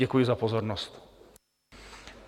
Děkuji za pozornost.